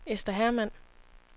Ester Hermann